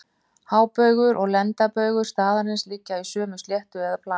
Hábaugur og lengdarbaugur staðarins liggja í sömu sléttu eða plani.